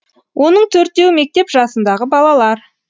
оның төртеуі мектеп жасындағы балалар